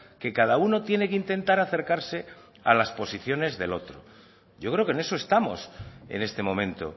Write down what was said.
que cada uno tiene que intentar acercarse a las posiciones del otro yo creo que en eso estamos en este momento